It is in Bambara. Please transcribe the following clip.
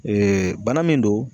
bana min don.